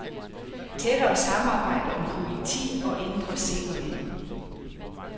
Tættere samarbejde om politi og indre sikkerhed.